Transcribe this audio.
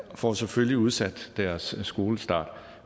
får selvfølgelig udsat deres skolestart